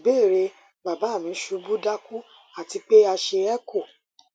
ìbéèrè baba mi ṣubu daku ati pe a ṣe echo